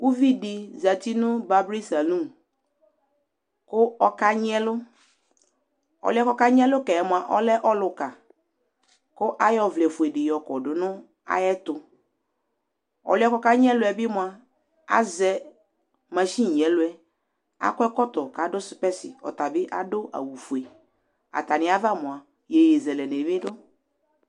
Uvidi zati nu baby saloom kʊ ɔka nyi ɛlu ɔliɛ okanyi ɛlu ka yi ɔlɛ ɔluka ku ayɔ ɔvlɛ fue di yɔkɔdu na yɛtu ɔliɛ bi kɔka nyi ɛluɛ bi mua azɛ machini nyi ɛlu bi ɔliɛ du kanyi ɛlu ɔta bi adu awu ofue atani bi ava mua yiyezelɛbi du